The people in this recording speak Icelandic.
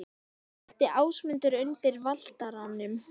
Lenti Ásmundur undir Valtaranum?